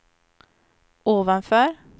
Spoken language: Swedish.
ovanför